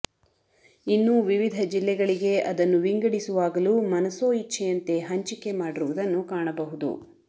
ಇನ್ನು ವಿವಿಧ ಜಿಲ್ಲೆಗಳಿಗೆ ಅದನ್ನು ವಿಂಗಡಿಸುವಾಗಲೂ ಮನಸೊ ಇಚ್ಚೆಯಂತೆ ಹಂಚಿಕೆ ಮಾಡಿರುವುದನ್ನು ಕಾಣಬಹುದು